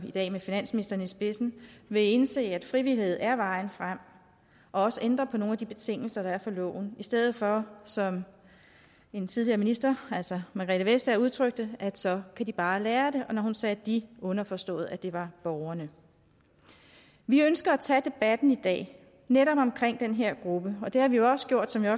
i dag med finansministeren i spidsen vil indse at frivillighed er vejen frem og også ændre på nogle af de betingelser der er for loven i stedet for som en tidligere minister altså margrethe vestager udtrykte at så kan de bare lære det og når hun sagde de var underforstået at det var borgerne vi ønsker at tage debatten i dag netop omkring den her gruppe og det har vi jo også gjort som jeg